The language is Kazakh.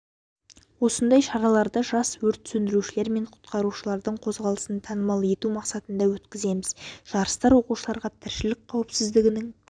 осындай шараларды жас өрт сөндірушілер мен құтқарушылардың қозғалысын танымал ету мақсатында өткіземіз жарыстар оқушыларға тіршілік қауіпсіздігінің